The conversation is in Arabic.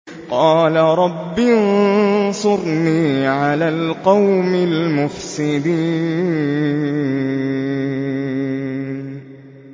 قَالَ رَبِّ انصُرْنِي عَلَى الْقَوْمِ الْمُفْسِدِينَ